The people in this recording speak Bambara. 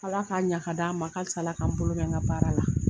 Ala k'a ɲa ka d'an ma, a ka fisa, Ala ka n bolo mɛn n ka baara la.